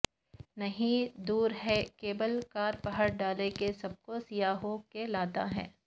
نہیں دور ہے کیبل کار پہاڑ ڈھال کے سب کو سیاحوں کے لاتا ہے